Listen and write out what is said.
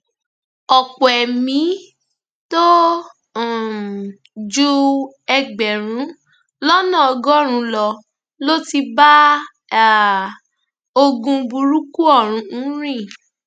ọpọ ẹmí tó um ju ẹgbẹrún lọnà ọgọrùnún lọ ló ti bá um ogún burúkú ọhún rìn